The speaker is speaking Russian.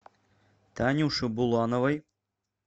танюше булановой